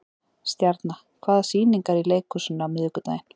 Stjarna, hvaða sýningar eru í leikhúsinu á miðvikudaginn?